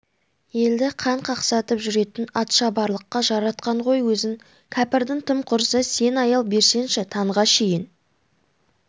елді қан қақсатып жүретін атшабарлыққа жаратқан ғой өзін кәпірдің тым құрса сен аял берсеңші таңға шейін